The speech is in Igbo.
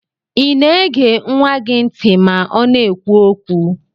Ina ege nwa gi nti ma ọna ekwu okwu?